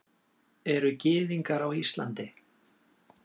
Eru Gyðingar á Íslandi?